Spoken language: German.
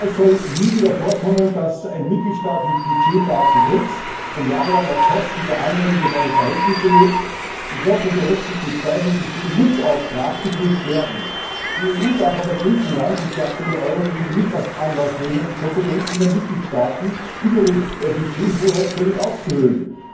Es soll nie wieder vorkommen, dass ein Mitgliedstaat mit Budgetdaten trickst und jahrelang auf Kosten der anderen über seine Verhältnisse lebt, und dort, wo berechtigte Zweifel bestehen, muss auch nachgeprüft werden. Die EU darf aber Griechenland und die aktuelle Eurokrise nicht zum Anlass nehmen, die Kompetenzen der Mitgliedstaaten betreffend die Budgethoheit völlig auszuhöhlen.